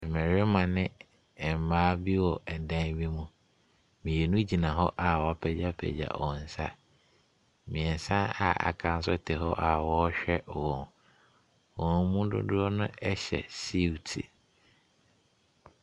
Mmarima ne mmaa bi wɔ ɛdan bi mu. Mmienu gyina hɔ a wɔapagyapagya wɔn nsa, mmeɛnsa a wɔaka nso te hɔ a wɔrehwɛ wɔn. Wɔn mu dodoɔ no hyɛ siuti.